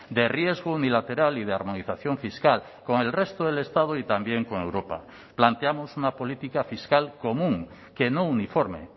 de riesgo unilateral y de armonización fiscal con el resto del estado y también con europa planteamos una política fiscal común que no uniforme